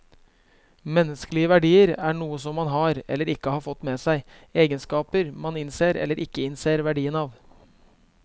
Menneskelige verdier er noe som man har, eller ikke har fått med seg, egenskaper man innser eller ikke innser verdien av.